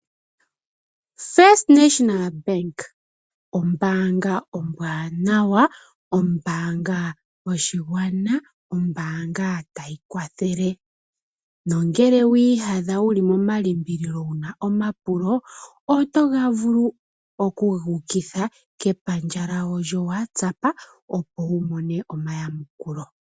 First National Bank ombaanga ombwaanawa, ombaanga yoshigwana, ombaanga tayi kwathele nongele wiiyadha wuli moma limbililo wuna omapulo oto vulu oku guukitha kepandja lyawo lyo WhatsApp opo wu mone omayamukulo.